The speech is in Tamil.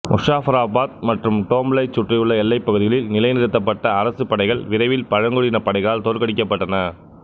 முசாஃபராபாத் மற்றும் டோம்லைச் சுற்றியுள்ள எல்லைப் பகுதிகளில் நிலைநிறுத்தப்பட்ட அரசுப் படைகள் விரைவில் பழங்குடியினப் படைகளால் தோற்கடிக்கப்பட்டன